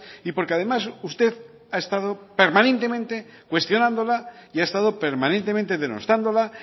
y porque además usted ha estado permanentemente cuestionándola y ha estado permanentemente denostándola